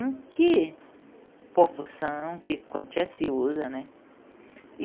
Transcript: Em que proporção, que quantia se usa, né?